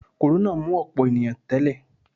Kòrónà mú ọ̀pọ̀ ènìyàn tẹ́lẹ̀